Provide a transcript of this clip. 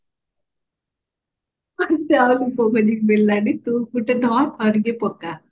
ମତେ ଆଉ ଲୋକ ଖୋଜିକି ମିଳିଲାନି ତୁ ଗୋଟେ ଧ କରିକି ପକା